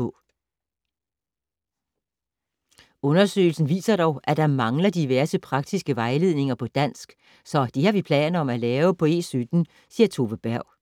- Undersøgelsen viser dog, at der mangler diverse praktiske vejledninger på dansk, så det har vi planer om at lave på E17, siger Tove Berg.